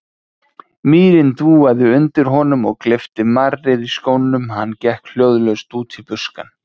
Mýrin dúaði undir honum og gleypti marrið í skónum, hann gekk hljóðlaust út í buskann.